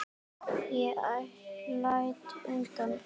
Ég læt undan.